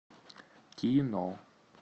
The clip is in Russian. кино